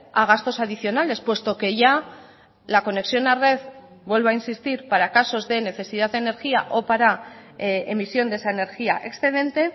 a gastos adicionales puesto que ya la conexión a red vuelvo a insistir para casos de necesidad de energía o para emisión de esa energía excedente